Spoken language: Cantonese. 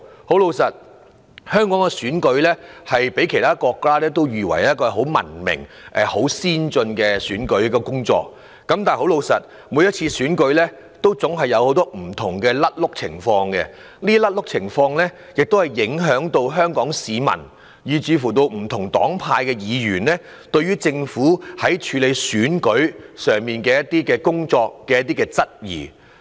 坦白說，香港的選舉被譽為文明、先進的選舉，但每次選舉總有很多不同錯漏情況，影響香港市民，令不同黨派的議員對於政府處理選舉的工作產生質疑。